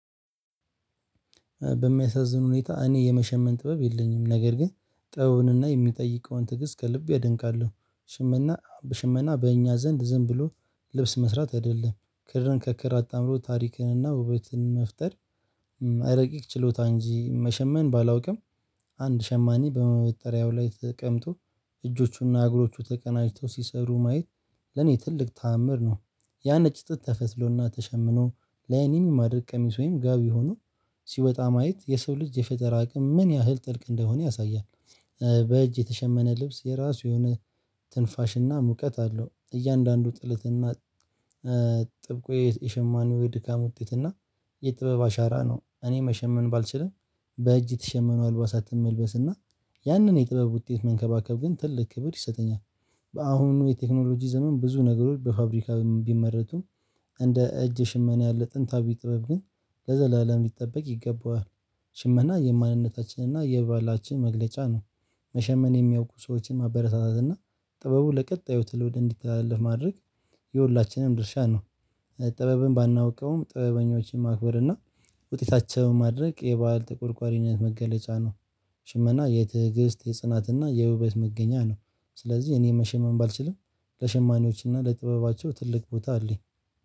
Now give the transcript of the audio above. በሚያሳዝን ሁኔታ እኔ የመሸመን ጥበብ የለኝም ነገርግን ጥበቡንና የሚጠይቀውን ትግስት ከልቤ አደንቃለሁ። ሽመና በሽመና በእኛ ዘንድ ዝም ብሎ ልብስ መስራት አይደለም ክርን ከክር አጣምሮ ታሪክንና ውበትን መፍጠር። ረቂቅ ችሎታ እንጂ መሸመን ባላውቅም። አንድ ሸማኒ በመወጠሪያው ላይ ተቀምጦ እጆቹና እግሮቹ ተቀናጅተው ሲሰሩ ማየት ለኔ ትልቅ ተአምር ነው። ያ ነጭ ጥጥ ተፈትሎና ተሸምኖ ለአይንም የሚማርክ ቀሚስ ወይም ጋቢ ሆኖ ሲወጣ ማየት የሰው ልጅ የፈጠራ አቅም ምን ያህል ጥልቅ እንደሆነ ያሳያል። በእጅ የተሸመነ ልብስ የራሱ የሆነ ትንፋሽና ሙቀት አለው እያንዳንዱ ጥለትና ጥብቁ የሸማኔው የድካም ውጤት እና። የጥበብ አሻራ ነው። እኔ መሸመን ባልችልም። በእጅ የተሸመኑ አልባሳትን መልበስ እና ያንን የጥበብ ውጤት መንከባከብ ግን ትልቅ ክብር ይሰጠኛል። በአሁኑ የቴክኖሎጂ ዘመን ብዙ ነገሮች በፋብሪካ ቢመረቱም። እንደ እጅ ሽመና ያለ ጥንታዊ ጥበብ ግን ለዘላለም ሊጠበቅ ይገባዋል። ሽመና የማንነታችንና የባህላችን መግለጫ ነው። መሸመን የሚያውቁ ሰዎችን ማበረታታት እና ጥበቡ ለቀጣዩ ትውልድ እንዲተላለፍ ማድረግ የሁላችንም ድርሻ ነው። ጥበብን ባናውቀውም ጥበበኞችን ማክበር እና ውጤታቸውን ማድነቅ የባህል ተቆርቋሪነት መገለጫ ነው። ሽመና የትዕግስት የጽናትና የውበት መገኛ ነው። ስለዚህ እኔ መሸመን ባልችልም ለሸማኔዎችና ለጥበባቸው ትልቅ ቦታ አለኝ